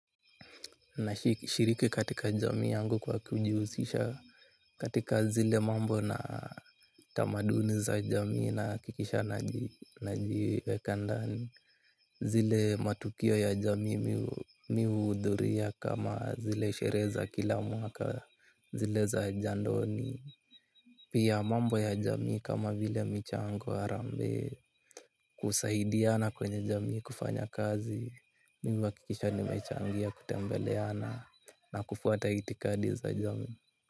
Nashiriki katika jamii yangu kwa kujihusisha katika zile mambo na tamadini za jamii nahakikisha najiweka ndani. Zile matukio ya jamii mi uhdhuria kama zile shere za kila mwaka, zile za jandoni. Pia mambo ya jamii kama vile michangu harambe kusahidiana kwenye jamii kufanya kazi. Mimi uhakikisha nimechangia kutembeleana na kufuata itikadi za jamii.